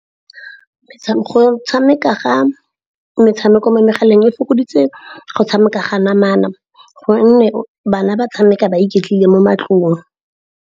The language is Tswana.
Go tshameka ga metshameko mo megaleng e fokoditse go tshameka ga namana gonne bana ba tshameka ba iketlile mo matlong.